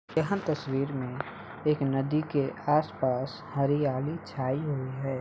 यहां पर तस्वीर में एक नदी के आस-पास हरियाली छाई हुई है ।